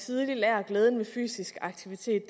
tidligt lærer glæden ved fysisk aktivitet